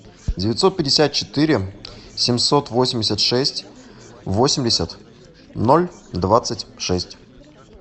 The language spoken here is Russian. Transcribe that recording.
девятьсот пятьдесят четыре семьсот восемьдесят шесть восемьдесят ноль двадцать шесть